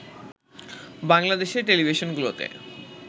বাংলাদেশের টেলিভিশনগুলোতে